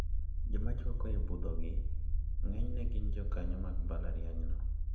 Joma chwako I budhogi ng`enyne gin jokanyo mag mbalariany no.